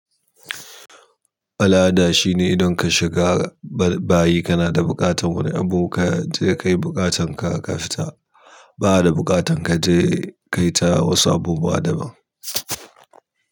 Al'ada shine idan ka shiga bayi kana da buƙatar wani abu ka je ka yi buƙatan ka ka fita. Ba'a da buƙatar ka je ka yi ta wasu abubuwa daban.